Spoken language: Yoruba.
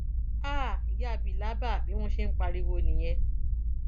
háà ìyá bílàbà bí wọn ṣe ń pariwo nìyẹn